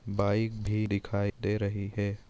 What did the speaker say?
Bike भी दिखाई दे रही है।